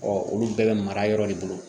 olu bɛɛ bɛ mara yɔrɔ de bolo